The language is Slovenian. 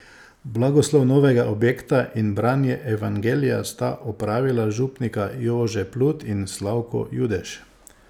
Blagoslov novega objekta in branje evangelija sta opravila župnika Jože Plut in Slavko Judež.